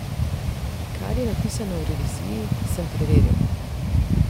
Kar je zapisano v reviziji, sem preveril.